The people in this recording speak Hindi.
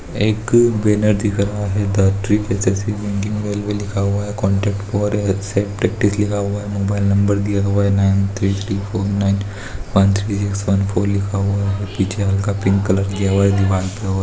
एक बैनर को दिख रहा है की ट्रि--ट्रिक लिखा हुआ है मोबाईल नंबर दिया हुआ है nine three three four nine one three six one four लिखा हुआ है पिंक कलर दिया हुआ है दीवाल